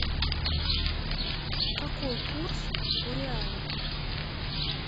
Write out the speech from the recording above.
какой курс у реала